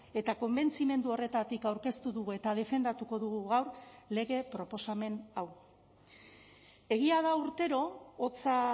eta konbentzimendu horretatik aurkeztu dugu eta defendatuko dugu gaur lege proposamen hau egia da urtero hotza